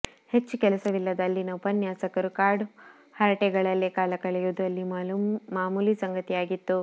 ಹೆಚ್ಚು ಕೆಲಸವಿಲ್ಲದ ಅಲ್ಲಿನ ಉಪನ್ಯಾಸಕರು ಕಾಡು ಹರಟೆಗಳಲ್ಲೇ ಕಾಲ ಕಳೆಯುವುದು ಅಲ್ಲಿ ಮಾಮೂಲಿ ಸಂಗತಿಯಾಗಿತ್ತು